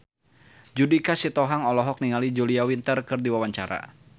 Judika Sitohang olohok ningali Julia Winter keur diwawancara